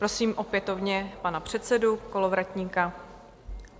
Prosím opětovně pana předsedu Kolovratníka.